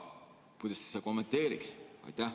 Kuidas te seda kommenteeriksite?